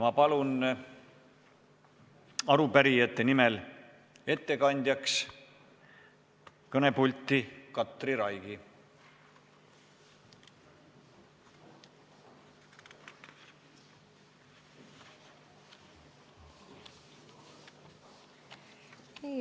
Ma palun arupärijate nimel kõnepulti ettekandjaks Katri Raigi!